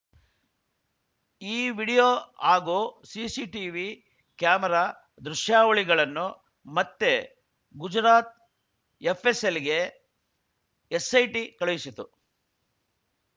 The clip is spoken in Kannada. ಈ ವಿಡಿಯೋ ಆಗೂ ಸಿಸಿಟಿವಿ ಕ್ಯಾಮೆರಾ ದೃಶ್ಯಾವಳಿಗಳನ್ನು ಮತ್ತೆ ಗುಜರಾತ್‌ ಎಫ್‌ಎಸ್‌ಎಲ್‌ಗೆ ಎಸ್‌ಐಟಿ ಕಳುಹಿಸಿತು